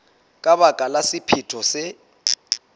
ka baka la sephetho se